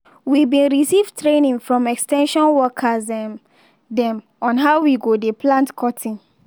we bin receive training from ex ten sion workers um dem on how we go dey plant cotton.